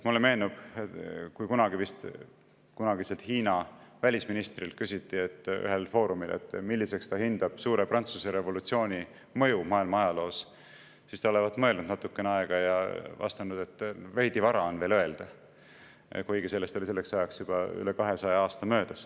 Mulle meenub, kui ühel foorumil küsiti kunagiselt Hiina välisministrilt, milliseks ta hindab suure Prantsuse revolutsiooni mõju maailma ajaloos, siis ta olevat mõelnud natukene aega ja vastanud, et veidi vara on veel öelda, kuigi selleks ajaks oli sellest möödas juba üle 200 aasta.